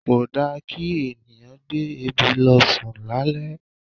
Kò da kí ènìyàn gbé ebi lọ sùn lálẹ́.